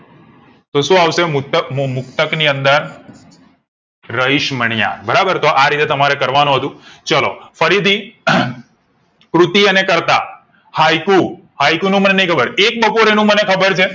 તો શું આવશે મૃતક મુ મુક્ત ની અંદર રહીશમણાંયર બરાબર તો આરીતે તમારે કરવા નું હતું ચાલો ફરીથી કૃતિ અને કર્તા હાઈકુ હાઈકુ નું મને નઈ ખબર એક બપોરે નું મને ખબર છે